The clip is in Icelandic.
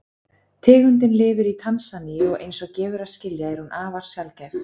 Tegundin lifir í Tansaníu og eins og gefur að skilja er hún afar sjaldgæf.